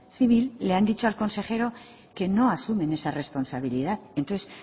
civil le han dicho al consejero que no asumen esa responsabilidad entonces